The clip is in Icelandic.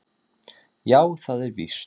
Já, það er víst